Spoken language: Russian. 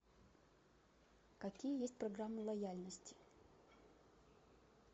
какие есть программы лояльности